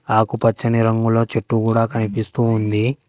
ఆకుపచ్చని రంగులో చెట్టు కూడా కనిపిస్తూ ఉంది.